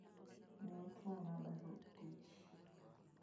Ne otuona barup tich.